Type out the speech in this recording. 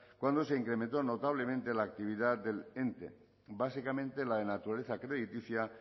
cuando se incrementó notablemente la actividad del ente básicamente la de naturaleza crediticia